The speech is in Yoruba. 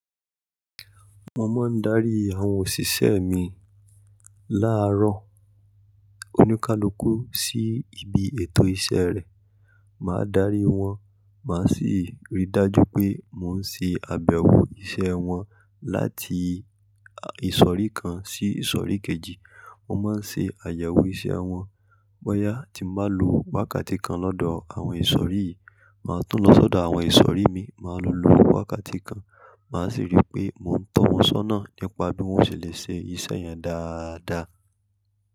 Mo máa ń darí àwọn òṣìṣẹ́ mi láàárọ̀ oníkálukú sí ibi ètò iṣẹ́ rẹ̀. Màá darí wọn, màá sì rí i dájú pé mò ń ṣe àbẹ̀wò iṣẹ́ wọn láti ìsọ̀rí kan sí ìsọ̀rí kejì. Mo má ń ṣe àyẹ̀wò iṣẹ́ wọn. Bọ́yá tí mo bá lo wákàtí kan lọ́dọ̀ àwọn ìsọ̀rí yìí, màá tún lọ sọ̀dọ̀ àwọn ìsọ̀rí mi, màá lo lo wákàtí kan, màá sì rí pé mò ń tọ́ wọn sọ́nà nípa bí wọ́n ṣe le ṣe iṣẹ́ yẹn dáadáa.